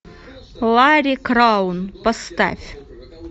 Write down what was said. ларри краун поставь